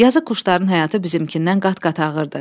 Yazıq quşların həyatı bizimkindən qat-qat ağırdır.